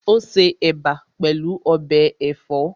Ó se Ẹ̀bà pẹ̀lú ọbẹ̀ ẹ̀fọ́